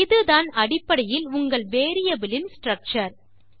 இதுதான் அடைப்படையில் உங்கள் வேரியபிள் இன் ஸ்ட்ரக்சர்